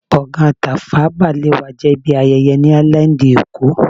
Gbọ̀ngán Tafawa Balewa jẹ́ ibi ayẹyẹ ni áílándì èkó